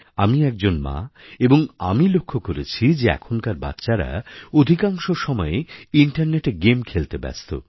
আমি একজন মা এবং আমি লক্ষ্য করেছি যে এখনকার বাচ্চারা অধিকাংশ সময়েই ইন্টারনেটে গেম খেলতে ব্যস্ত